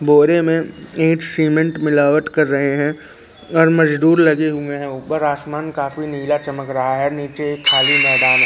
बोरे में ईट सीमेंट मिलावट कर रहे हैं और मजदूर लगे हुए हैं ऊपर आसमान काफी नीला चमक रहा है नीचे एक खाली मैदान--